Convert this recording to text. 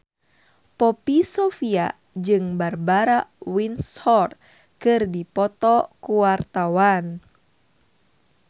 Poppy Sovia jeung Barbara Windsor keur dipoto ku wartawan